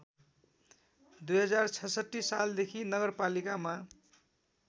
२०६६ सालदेखि नगरपालिकामा